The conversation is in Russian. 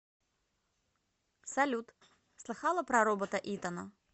салют слыхала про робота итана